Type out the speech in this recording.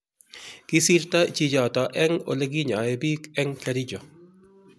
kisirto chichoto eng oleginyoen biik eng Kericho